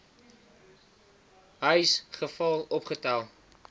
huis geval opgetel